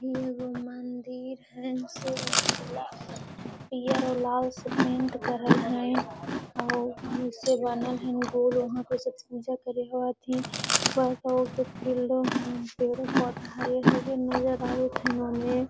इ एगो मंदिर हेय सो पीयर और लाल से पेंट करल हेय ओ गोल वहां पे सब पूजा करे हथीन बड़का गो के फील्डो हेय पेड़ो पोधा हरियर हरियर नजर आवेत हेय इन्होंने --